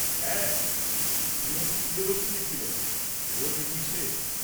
হ্যাঁ, শ্রীমতী প্রিয়দর্শিনী ছিলেন, ওঁর মিটিং শেষ।